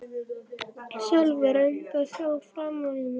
Sölvi reyndi að sjá framan í mig.